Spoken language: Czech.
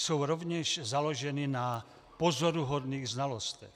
Jsou rovněž založeny na pozoruhodných znalostech.